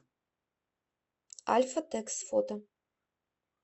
альфатекс фото